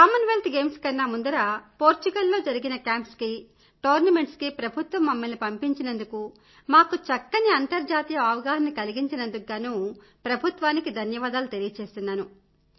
Commonwealth Games కన్నా ముందర Portugal లో జరిగిన క్యాంప్స్ కీ టోర్నమెంట్స్ కీ ప్రభుత్వం మమ్మల్ని పంపించినందుకు మాకు చక్కని అంతర్జాతీయ అవగాహనను కల్పించినందుకు గానూ ప్రభుత్వానికి ధన్యవాదాలు తెలియచేస్తున్నాను